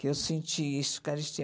que eu senti isso, carestia.